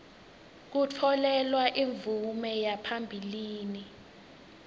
kutfolelwa imvume yaphambilini